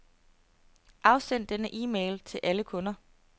Afsend denne e-mail til alle kunder.